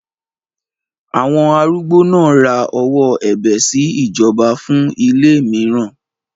Àwọn arúgbó náà ra ọwọ́ ẹ̀bẹ̀ sí ìjọba fún ilé mìíràn.